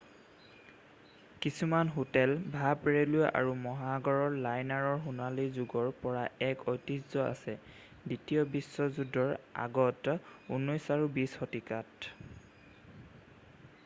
কিছুমান হোটেল ভাপ ৰে'লৱে আৰু মহাসাগৰ লাইনাৰৰ সোণালী যোগৰ পৰা এক ঐতিহ্য আছে; দ্বিতীয় বিশ্বযুদ্ধৰ আগত 19 আৰু 20 শতিকাত৷